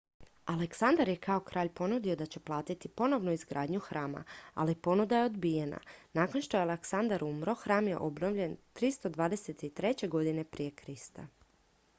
aleksandar je kao kralj ponudio da će platiti ponovnu izgradnju hrama ali ponuda je odbijena nakon što je aleksandar umro hram je obnovljen 323. g pr kr